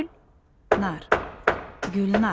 Gülnar.